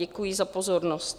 Děkuji za pozornost.